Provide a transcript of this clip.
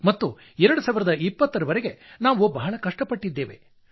ಪ್ರಾಮಾಣಿಕವಾಗಿ ಹೇಳುವುದಾದರೆ 2020 ರವರೆಗೆ ನಾವು ಬಹಳ ಕಷ್ಟ ಪಟ್ಟಿದ್ದೇವೆ